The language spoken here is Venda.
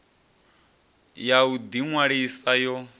ya u ḓi ṅwalisa yo